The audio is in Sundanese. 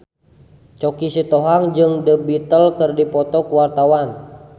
Choky Sitohang jeung The Beatles keur dipoto ku wartawan